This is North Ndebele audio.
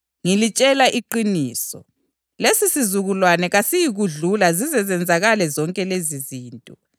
Ngilitshela iqiniso, lesisizukulwane kasiyikudlula zize zenzakale zonke lezizinto.